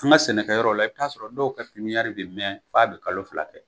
An ka sɛnɛkɛyɔrɔ la i bɛ t'a sɔrɔ dɔw ka pipiniyɛri bɛ mɛɛn f'a bɛ kalo fila kɛ.